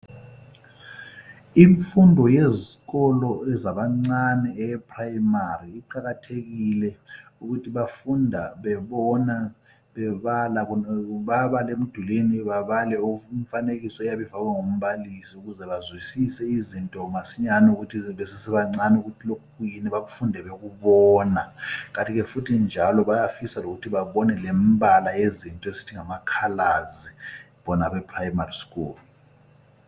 Imfundo yezikolo ezabancane eyeprimary. lqakathekile. Ukuthi bafunda bebona, bebala. Bayabala emdulwini. Babale imifanekiso, eyabe ifakwe ngumbalisi, ukuze bazwisise izinto masinyane. Besasebancane, ukuthi lokhu kuyini. Bakufunde bekubona, Kanti ke, futhi njalo, bayafisa lokuthi babone lembala yezinto, esithi ngamacolours, bona abeprimary school.